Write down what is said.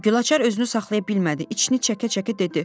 Gülaçar özünü saxlaya bilmədi, içini çəkə-çəkə dedi: